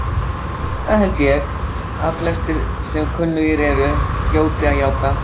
Það held ég, að flestir, sem kunnugir eru, hljóti að játa.